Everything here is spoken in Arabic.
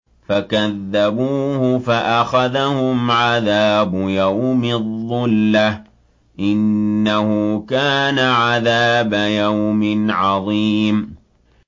فَكَذَّبُوهُ فَأَخَذَهُمْ عَذَابُ يَوْمِ الظُّلَّةِ ۚ إِنَّهُ كَانَ عَذَابَ يَوْمٍ عَظِيمٍ